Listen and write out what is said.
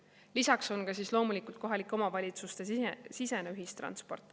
Lisaks on loomulikult kohalike omavalitsuste sisene ühistransport.